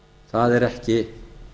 það er ekki